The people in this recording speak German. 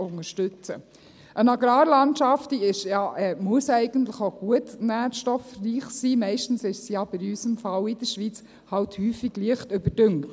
Eine Agrarlandschaft ist und muss eigentlich auch gut nährstoffreich sein, meistens ist sie aber in unserem Fall in der Schweiz halt häufig leicht überdüngt.